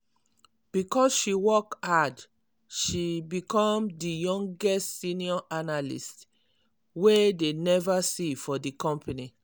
because she work hard she become di youngest senior analyst way dey never see for di company.